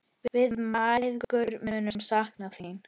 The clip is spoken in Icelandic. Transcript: Við mæðgur munum sakna þín.